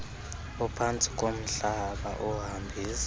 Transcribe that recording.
ophantsi komhlaba ohambisa